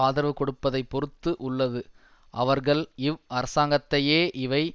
ஆதரவு கொடுப்பதைப் பொறுத்து உள்ளது அவர்கள் இவ் அரசாங்கத்தையே இவை